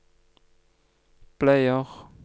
bleier